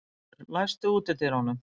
Arnúlfur, læstu útidyrunum.